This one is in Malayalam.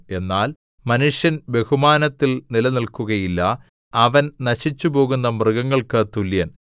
എന്നാൽ മനുഷ്യൻ ബഹുമാനത്തിൽ നിലനില്‍ക്കുകയില്ല അവൻ നശിച്ചുപോകുന്ന മൃഗങ്ങൾക്ക് തുല്യൻ